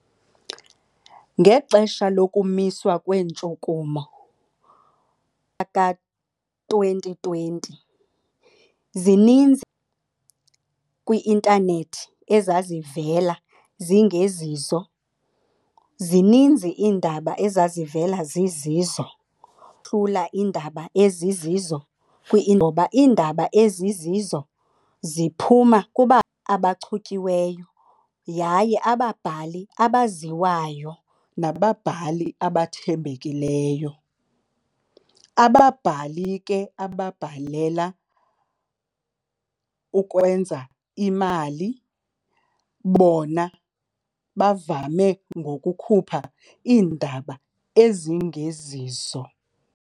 Ngexesha lokumiswa kweentshukumo ka-twenty twenty, zininzi kwi-intanethi ezazivela zingezizo. Zininzi iindaba ezazivela zizizo. iindaba ezizizo ngoba iindaba ezizizo ziphuma abachutyiweyo yaye ababhali abaziwayo nababhali abathembekileyo. Ababhali ke ababhalela ukwenza imali bona bavame ngokukhupha iindaba ezingezizo.